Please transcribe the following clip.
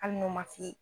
Hali n'u ma f'i ye